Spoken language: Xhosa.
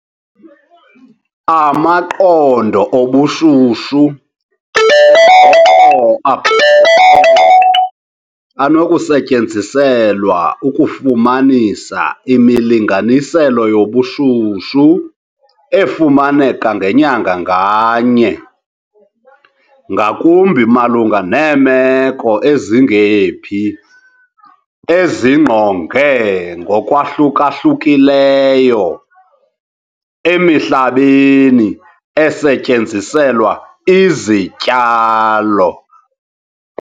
Amaqondo obushushu ke ngoko abhaliweyo anokusetyenziselwa ukufumanisa imilinganiselo yobushushu efumaneka ngenyanga nganye, ngakumbi malunga neemeko ezingephi ezingqonge ngokwahluka-hlukileyo, emihlabeni esetyenziselwa izityalo.